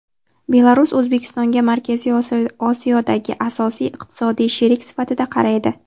Belarus O‘zbekistonga Markaziy Osiyodagi asosiy iqtisodiy sherik sifatida qaraydi.